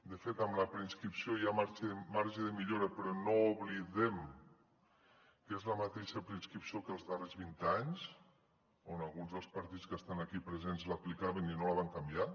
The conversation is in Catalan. de fet en la preinscripció hi ha marge de millora però no oblidem que és la mateixa preinscripció que els darrers vint anys on alguns dels partits que estan aquí presents l’aplicaven i no la van canviar